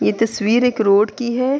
یہ تشویر ایک روڈ کی ہے۔